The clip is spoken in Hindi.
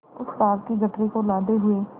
उस पाप की गठरी को लादे हुए